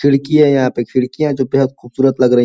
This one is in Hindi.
खिड़की है यहां पे। खिडकियां जो बेहद खुबसूरत लग रही --